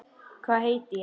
Hvað heiti ég?